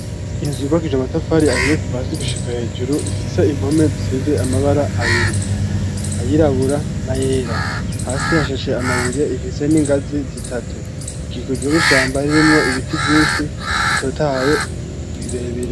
Inzu yubakishije amatafari ahiye kuva hasi gushika hejuru ifise impome zisize amabara abiri ayirabura na yera hasi hashashe amabuye ifise n'ingazi zitatu zikikujwe n'ishamba ririmwo ibiti vyinshi bitotahaye birebire.